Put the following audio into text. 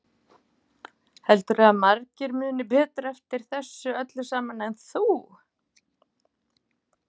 Heldurðu að margir muni betur eftir þessu öllu saman en þú?